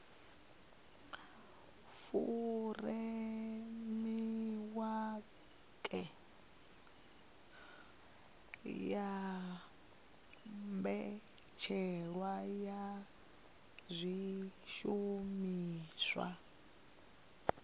furemiweke ya mbetshelwa ya zwishumiswa